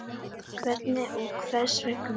Hvernig og hvers vegna?